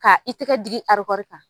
Ka i tɛgɛ digi kan.